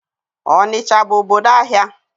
Ọnịcha bụ obodo ahịa.